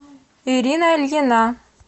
ирина ильина